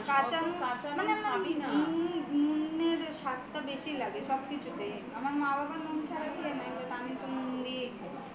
কাচা নুন নুনের স্বাদটা বেশি লাগে সবকিছুতেই আমার মা বাবা নুন ছাড়া খেয়ে নেই কিন্তু আমি তো নুন দিয়েই খাই